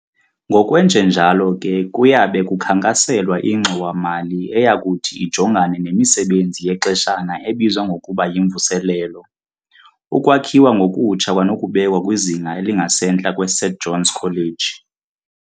Ngokwenjenjalo ke kuyabe kukhankaselwa ingxowa mali eyakuthi ijongane nemisebenzi yexeshana ebizwa ngokuba yyimvuselelo, ukwakhiwa ngokutsha kwanokubekwa kwizinga elingasentla kweSt John's College.